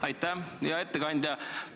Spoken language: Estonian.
Aitäh, hea ettekandja!